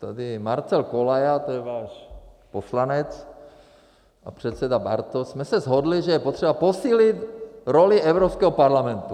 Tady, Marcel Kolaja - to je váš poslanec - a předseda Bartoš jsme se shodli, že je potřeba posílit roli Evropského parlamentu.